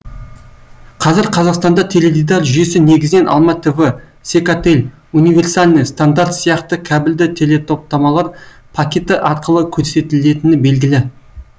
қазір қазақстанда теледидар жүйесі негізінен алматв секатель универсальный стандарт сияқты кәбілді телетоптамалар пакеті арқылы көрсетілетіні белгілі